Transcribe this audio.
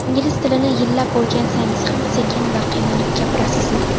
Ingliz tilini yillab o‘rgansangiz ham sekin va qiynalib gapirasizmi?